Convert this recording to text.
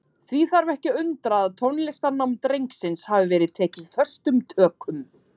Því þarf ekki að undra að tónlistarnám drengsins hafi verið tekið föstum tökum.